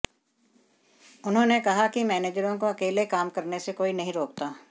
उन्होंने कहा कि मैनेजरों को अकेले काम करने से कोई नहीं रोकता